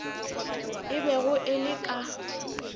e bego e le ka